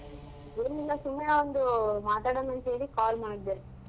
ಏನಿಲ್ಲ ಸುಮ್ನೆ ಒಂದು ಮಾತಾಡಣ ಅಂತ್ ಹೇಳಿ call ಮಾಡ್ದೆ.